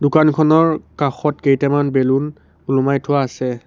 দোকানখনৰ কাষত কেইটামান বেলুন ওলোমাই থোৱা আছে।